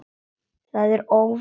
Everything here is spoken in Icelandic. Það er óvirkt í dag.